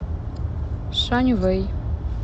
шаньвэй